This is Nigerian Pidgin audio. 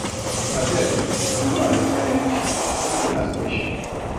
Abeg, if you no understand anytin make you ask question.